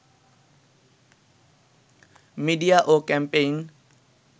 media ও campaign